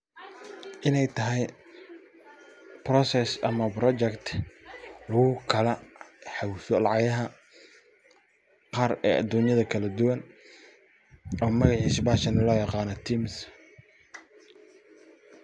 Iney tahay process ama project lugu kala hawisha lacagaha, qaar ee adunyaha kala duwan ee magacisa loo yiqano TIMS.